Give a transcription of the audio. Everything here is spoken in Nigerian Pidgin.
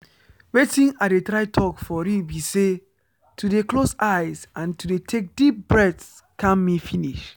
watin i dey try talk for real be say to dey close eyes and to dey take deep breath calm me finish.